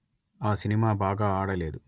ఆ సినిమా బాగా ఆడలేదు